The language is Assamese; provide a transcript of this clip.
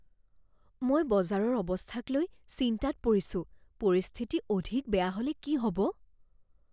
মই বজাৰৰ অৱস্থাক লৈ চিন্তাত পৰিছোঁ। পৰিস্থিতি অধিক বেয়া হ'লে কি হ'ব?